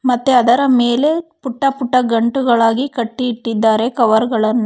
ಮತ್ತೆ ಅದರ ಮೇಲೆ ಪುಟ್ಟ ಪುಟ್ಟ ಗಂಟುಗಳಾಗಿ ಕಟ್ಟಿ ಇಟ್ಟಿದ್ದಾರೆ ಕವರ್ ಗಳನ್ನು.